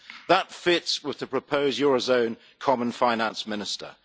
That fits with the proposed eurozone Common Finance Minister.